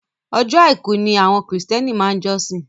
Ọjọ́ àìkú ni àwọn kìrìsìtẹ́nì máa ń jọ́sìn.